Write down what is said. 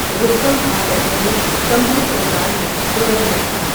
رستم خاں دکنی سنبھل سرکار میں گورنر تھا ۔